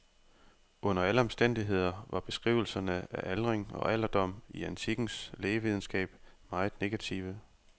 Under alle omstændigheder var beskrivelserne af aldring og alderdom i antikkens lægevidenskab meget negative.